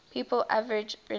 people average relatively